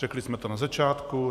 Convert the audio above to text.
Řekli jsme to na začátku.